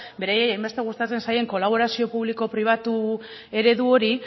beraiei hainbeste gustatzen zaien kolaborazio publiko pribatu eredu hori